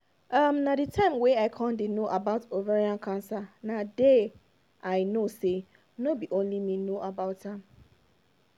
um na the time wey i con dey no about ovarian cancer na dey i know say no be only me no know about am